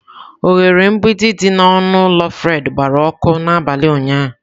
Oghere mgbidi dị n'ọnụ ụlọ Fred gbara ọkụ n'abalị ụnyahụ